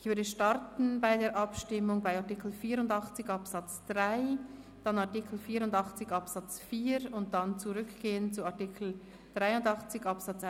– Ich würde starten mit der Abstimmung zu Artikel 84 Absatz 3, gefolgt von der Abstimmung über Artikel 84 Absatz 4.